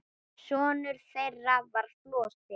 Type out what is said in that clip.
Sonur þeirra var Flosi.